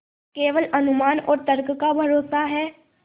केवल अनुमान और तर्क का भरोसा है